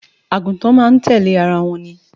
Àgùntàn máa ń tẹ̀lẹ́ ara wọn ni